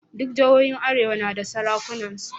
Duk jihohin arewa na da sarakunansu.